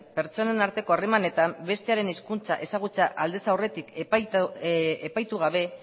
pertsonen arteko harremanetan bestearen hizkuntza ezagutzea aldez aurretik epaitu gabe